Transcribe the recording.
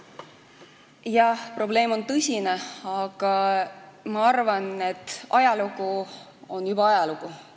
Jah, probleem on tõsine, aga ma arvan, et ajalugu on juba ajalugu.